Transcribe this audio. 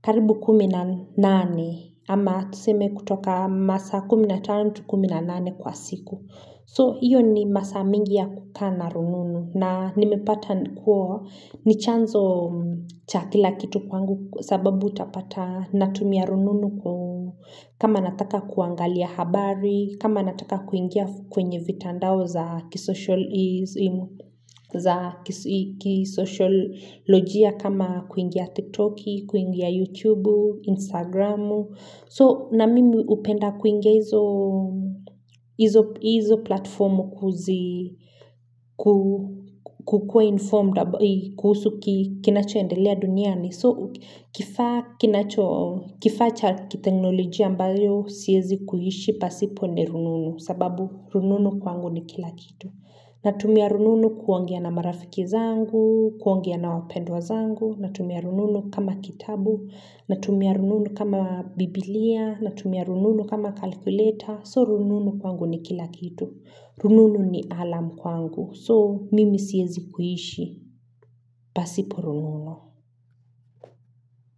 Karibu 18 ama tuseme kutoka masa 15-18 kwa siku. So iyo ni masaa mingi ya kukaa na rununu na nimepata kuwa ni chanzo cha kila kitu kwangu sababu utapata natumia rununu ku kama nataka kuangalia habari, kama nataka kuingia kwenye vitandao za kisocial lojia kama kuingia tiktoki, kuingia youtube, instagramu so na mimi upenda kuingia izo hizo platformu kuzi ku kukua informed, kuhusu kinacho endelea duniani so kifaa kinacho, kifaa cha kiteknolojia ambayo siezi kuishi pasipo ni rununu sababu rununu kwangu ni kila kitu natumia rununu kuongea na marafiki zangu kuongea na wapendwa zangu natumia rununu kama kitabu natumia rununu kama biblia natumia rununu kama calculator so rununu kwangu ni kila kitu rununu ni alarm kwangu so mimi siezi kuishi pasipo rununu.